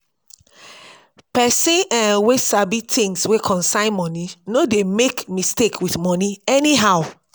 pesin um wey sabi tins wey concern moni no dey make mistake with moni anyhow.